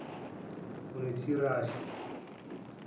notirashe